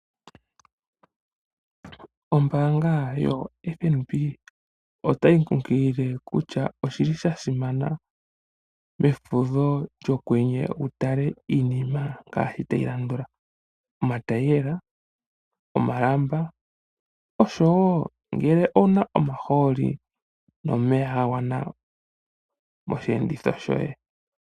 Ombanga YoFNB ota yi kunkilile kutya oshi li sha simana mefudho lyokwenye wu tale iinima ngaashi tayi landula: omatayiyela, omalamba oshowo ngele owu na omahooli nomeya ga gwana moshiyenditho shoye.